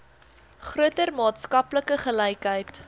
groter maatskaplike gelykheid